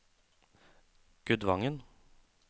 Gudvangen